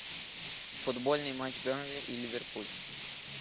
футбольный матч бернли и ливерпуль